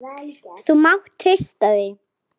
Þú mátt treysta því!